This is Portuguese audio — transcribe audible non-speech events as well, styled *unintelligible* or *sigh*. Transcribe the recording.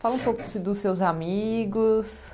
Fala um pouco *unintelligible* dos seus amigos.